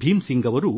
ಭೀಮ್ ಸಿಂಗ್ ಅವರು